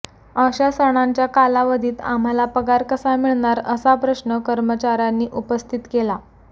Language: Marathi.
अशा सणांच्या कालावधीत आम्हाला पगार कसा मिळणार असा प्रश्न कर्मचाऱयांनी उपस्थित केला